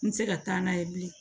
N tɛ se ka taa n'a ye bilen